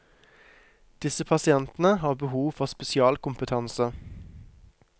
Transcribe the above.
Disse pasientene har behov for spesialkompetanse.